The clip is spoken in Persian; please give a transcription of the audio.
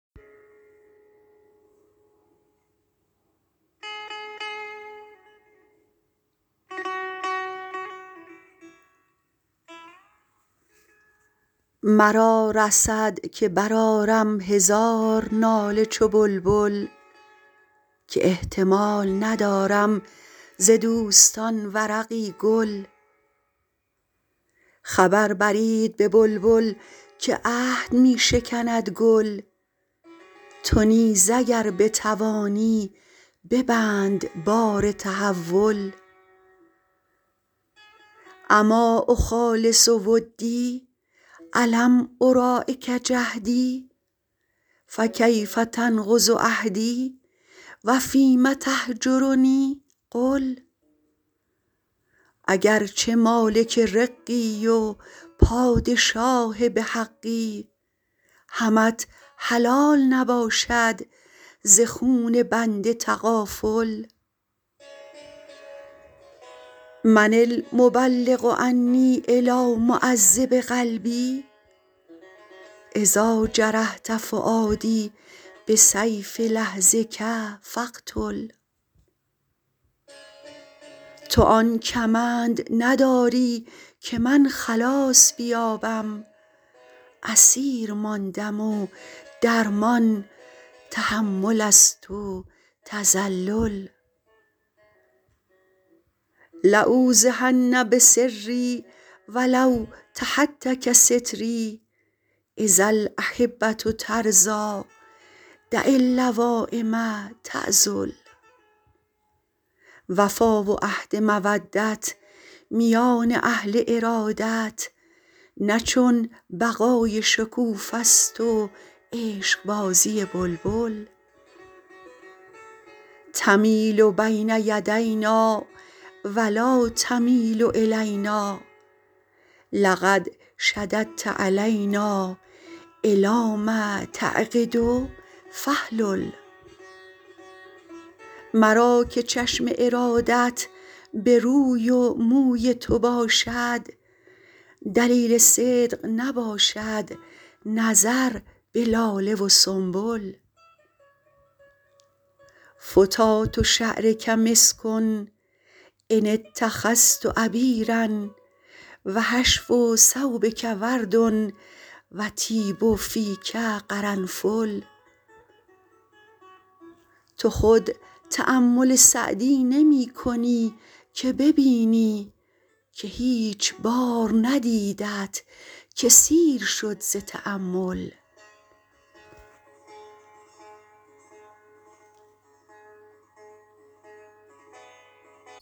مرا رسد که برآرم هزار ناله چو بلبل که احتمال ندارم ز دوستان ورقی گل خبر برید به بلبل که عهد می شکند گل تو نیز اگر بتوانی ببند بار تحول أما أخالص ودی ألم أراعک جهدی فکیف تنقض عهدی و فیم تهجرنی قل اگر چه مالک رقی و پادشاه به حقی همت حلال نباشد ز خون بنده تغافل من المبلغ عنی إلیٰ معذب قلبی إذا جرحت فؤادی بسیف لحظک فاقتل تو آن کمند نداری که من خلاص بیابم اسیر ماندم و درمان تحمل است و تذلل لأوضحن بسری و لو تهتک ستری إذا الأحبة ترضیٰ دع اللوایم تعذل وفا و عهد مودت میان اهل ارادت نه چون بقای شکوفه ست و عشقبازی بلبل تمیل بین یدینا و لا تمیل إلینا لقد شددت علینا إلام تعقد فاحلل مرا که چشم ارادت به روی و موی تو باشد دلیل صدق نباشد نظر به لاله و سنبل فتات شعرک مسک إن اتخذت عبیرا و حشو ثوبک ورد و طیب فیک قرنفل تو خود تأمل سعدی نمی کنی که ببینی که هیچ بار ندیدت که سیر شد ز تأمل